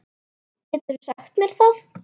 Geturðu sagt mér það?